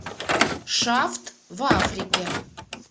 шафт в африке